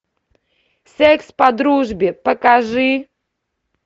секс по дружбе покажи